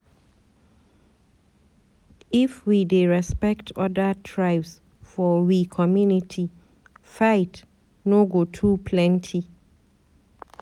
If we dey respect other tribes for we community, fight no go too plenty.